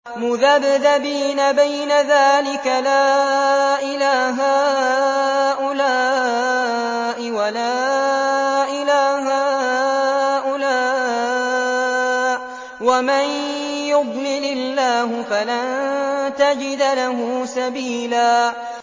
مُّذَبْذَبِينَ بَيْنَ ذَٰلِكَ لَا إِلَىٰ هَٰؤُلَاءِ وَلَا إِلَىٰ هَٰؤُلَاءِ ۚ وَمَن يُضْلِلِ اللَّهُ فَلَن تَجِدَ لَهُ سَبِيلًا